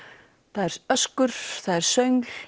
það er öskur það er